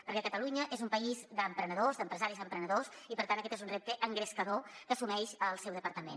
perquè catalunya és un país d’emprenedors d’empresaris emprenedors i per tant aquest és un repte engrescador que assumeix el seu departament